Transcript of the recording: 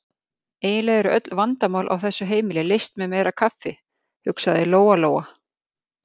Eiginlega eru öll vandamál á þessu heimili leyst með meira kaffi, hugsaði Lóa-Lóa.